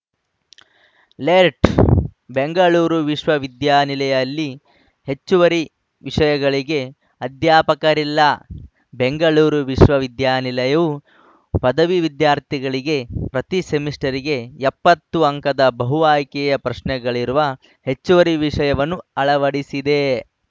ಲೆರ್ಟ್ ಬೆಂಗಳೂರು ವಿಶ್ವವಿದ್ಯಾನಿಲಯಲ್ಲಿ ಹೆಚ್ಚುವರಿ ವಿಷಯಗಳಿಗೆ ಅಧ್ಯಾಪಕರಿಲ್ಲ ಬೆಂಗಳೂರು ವಿಶ್ವವಿದ್ಯಾನಿಲಾಯವು ಪದವಿ ವಿದ್ಯಾರ್ಥಿಗಳಿಗೆ ಪ್ರತಿ ಸೆಮಿಸ್ಟರ್‌ಗೆ ಎಪ್ಪತ್ತು ಅಂಕದ ಬಹು ಆಯ್ಕೆಯ ಪ್ರಶ್ನೆಗಳಿರುವ ಹೆಚ್ಚುವರಿ ವಿಷಯವನ್ನು ಅಳವಡಿಸಿದೆ